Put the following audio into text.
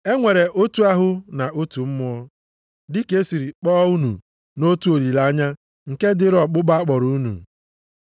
E nwere otu ahụ na otu Mmụọ, dị ka e siri kpọọ unu nʼotu olileanya nke dịịrị ọkpụkpọ a kpọrọ unu.